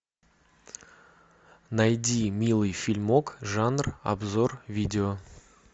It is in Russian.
найди милый фильмок жанр обзор видео